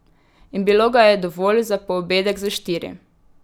In bilo ga je dovolj za poobedek za štiri.